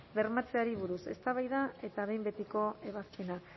bermatzeari buruz eztabaida eta behin betiko ebazpena